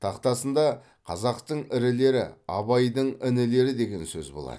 тақтасында қазақтың ірілері абайдың інілері деген сөз болады